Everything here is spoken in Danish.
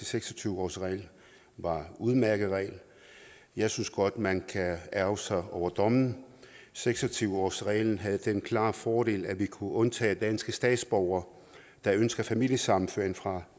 seks og tyve årsregel var en udmærket regel jeg synes godt man kan ærgre sig over dommen seks og tyve årsreglen havde den klare fordel at vi kunne undtage danske statsborgere der ønskede familiesammenføring fra